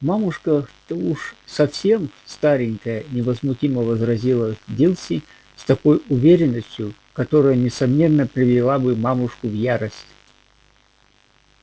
мамушка-то уж совсем старенькая невозмутимо возразила дилси с такой уверенностью которая несомненно привела бы мамушку в ярость